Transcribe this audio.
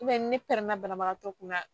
ni pɛrɛna banabagatɔ kunna